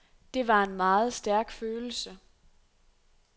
Det var en meget stærk følelse.